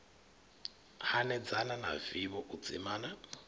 hanedzana na vivho u dzimana